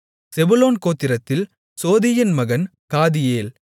செபுலோன் கோத்திரத்தில் சோதியின் மகன் காதியேல்